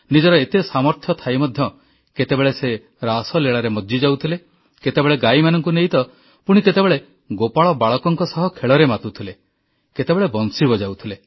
ନିଜର ଏତେ ସାମର୍ଥ୍ୟ ଥାଇ ମଧ୍ୟ କେତେବେଳେ ସେ ରାସଲୀଳାରେ ମଜ୍ଜିଯାଉଥିଲେ କେତେବେଳେ ଗାଈମାନଙ୍କୁ ନେଇ ତ ପୁଣି କେତେବେଳେ ଗୋପାଳ ବାଳକଙ୍କ ସହ ଖେଳରେ ମାତୁଥିଲେ କେତେବେଳେ ବଂଶୀ ବଜାଉଥିଲେ